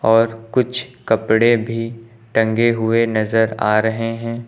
और कुछ कपड़े भी टंगे हुए नजर आ रहे हैं।